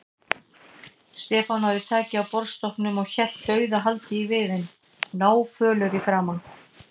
Stefán náði taki á borðstokknum og hélt dauðahaldi í viðinn, náfölur í framan.